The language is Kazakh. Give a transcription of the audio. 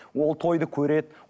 ол тойды көреді